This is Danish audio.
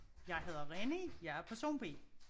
Jeg hedder Reni jeg er person B